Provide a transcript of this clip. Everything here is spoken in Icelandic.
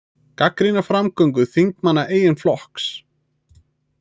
Gagnrýna framgöngu þingmanna eigin flokks